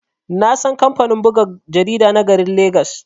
Nasan kamfanin buga jarida na garin legas.